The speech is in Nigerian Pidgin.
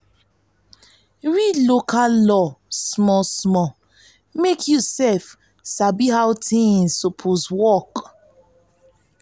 read local law local law small small mek yu sabi how tins soppose work